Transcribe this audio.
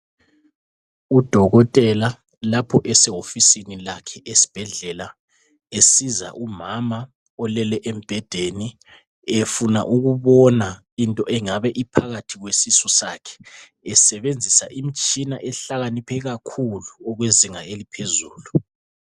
Udokotela lapho esewofisini lakhe esibhedlela esiza umama olele embhedeni efuna ukubona into engabe iphakathi kwesisu sakhe esebenzisa imitshina ehlakaniphe kakhulu okwezinga eliphezulu.